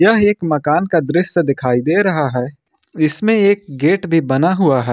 यह एक मकान का दृश्य दिखाई दे रहा है इसमें एक गेट भी बना हुआ है।